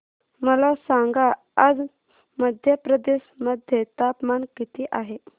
मला सांगा आज मध्य प्रदेश मध्ये तापमान किती आहे